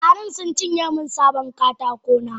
Garan suncinye min sabon katakona.